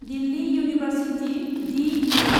Delhi university D U